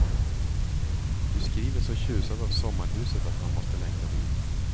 Du skriver så tjusad av sommarhuset att man måste längta dit.